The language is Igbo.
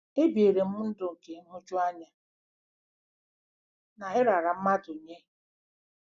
Ebiere m ndụ nke nhụjuanya na ịrara mmadụ nye.